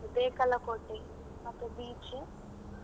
ಕಾಸರಗೋಡು, ಬೇಕಲಕೋಟೆ ಮತ್ತು beach.